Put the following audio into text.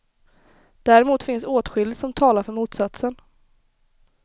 Däremot finns åtskilligt som talar för motsatsen.